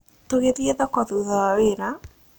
Tũgĩthiĩ thoko thutha wa wĩra?